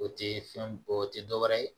O tɛ fɛn o tɛ dɔ wɛrɛ ye